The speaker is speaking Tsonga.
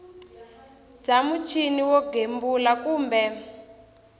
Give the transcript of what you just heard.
bya muchini wo gembula kumbe